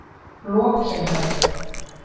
Lokinhömrum